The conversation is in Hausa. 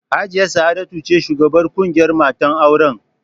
Hajiya Sa'adatu ce shugabar ƙungiyar matan auren